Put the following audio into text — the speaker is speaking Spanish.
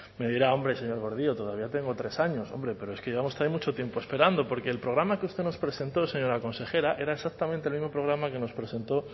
me dirá hombre señor gordillo todavía tengo tres años hombre pero es que llevamos también mucho tiempo esperando porque el programa que usted nos presentó señora consejera era exactamente el mismo programa que nos presentó